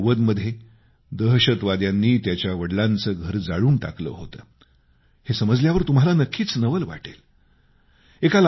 1990मध्ये दहशतवाद्यांनी त्याच्या वडिलांचं घर जाळून टाकलं होतं हे समजल्यावर तुम्हाला नक्कीच नवल वाटेल